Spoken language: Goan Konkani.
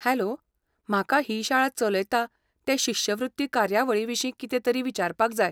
हॅलो, म्हाका ही शाळा चलयता ते शिश्यवृत्ती कार्यावळीविशीं कितेंतरी विचारपाक जाय.